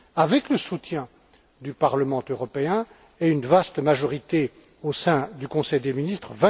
avec le soutien du Parlement européen et une vaste majorité au sein du Conseil des ministres.